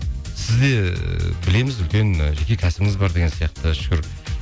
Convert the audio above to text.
сізде ііі білеміз үлкен ы жеке кәсібіңіз бар деген сияқты шүкір